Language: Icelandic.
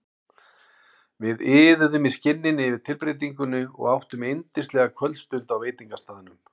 Við iðuðum í skinninu yfir tilbreytingunni og áttum yndislega kvöldstund á veitingastaðnum.